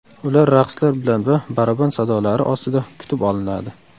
Ular raqslar bilan va baraban sadolari ostida kutib olinadi.